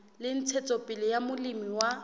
la ntshetsopele ya molemi wa